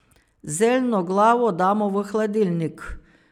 Zeljno glavo damo v hladilnik.